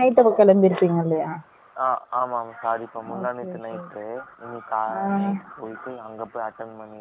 ஆ.. ஆமா ஆமா sorry பா முந்தானேத்து ந night உ